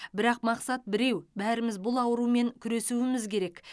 бірақ мақсат біреу бәріміз бұл аурумен күресуіміз керек